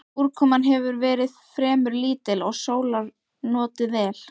Úrkoman hefur verið fremur lítil og sólar notið vel.